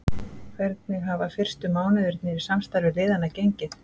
Hvernig hafa fyrstu mánuðirnir í samstarfi liðanna gengið?